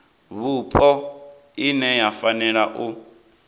vhupo ine ya fanela u